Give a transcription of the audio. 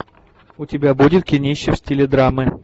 у тебя будет кинище в стиле драмы